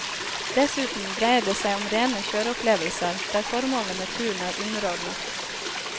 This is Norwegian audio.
Dessuten dreier det seg om rene kjøreopplevelser der formålet med turen er underordnet.